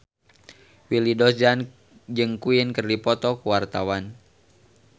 Willy Dozan jeung Queen keur dipoto ku wartawan